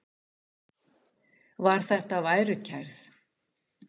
Var þetta værukærð?